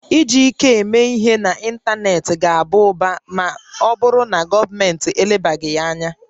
Iji ike eme ihe n'ịntanetị ga-aba ụba ma ọ bụrụ na gọọmentị elebaghị ya anya